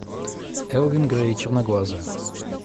элвин грей черноглазая